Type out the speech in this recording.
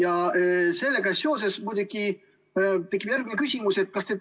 Aga sellega seoses tekib järgmine küsimus.